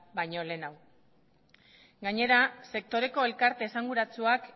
baino lehenago gainera sektoreko elkarte esanguratsuak